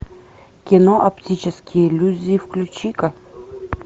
кино оптические иллюзии включи ка